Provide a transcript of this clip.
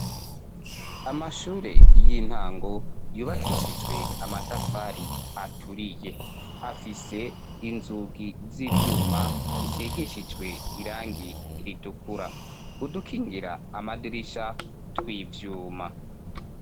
Amashure y'intango yubakishijwe amatafari aturiye afise inzugi z'ivyuma zisigishijwe irangi ritukura udukingira amadirisha tw'ivyuma.